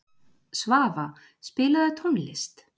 Svafa, spilaðu tónlist.